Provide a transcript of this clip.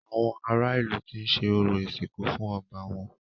Àwọn ará ìlú ti ṣe orò ìsìnkú fún ọba wọn.